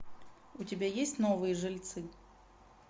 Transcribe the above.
у тебя есть новые жильцы